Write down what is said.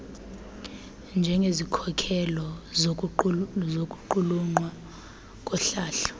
njengezikhokelo zokuqulunqwa kohlahlo